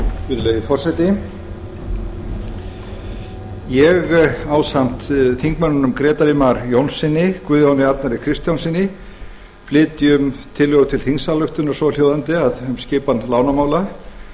virðulegi forseti ég ásamt þingmönnunum grétari mar jónssyni og guðjóni arnari kristjánssyni flyt tillögu til þingsályktunar svohljóðandi um skipan lánamála